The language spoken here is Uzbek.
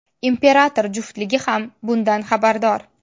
Imperator juftligi ham bundan xabardor.